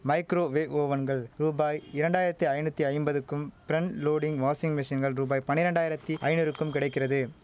micro wave ஓவன்கள் ரூபாய் இரண்டாயிரத்தி ஐநூத்தி ஐம்பதுக்கும் பிரன்ட் லோடிங் வாஷிங் மெஷின்கள் ரூபாய் பன்னிரண்டாயிரத்தி ஐநூறுக்கும் கிடைக்கிறது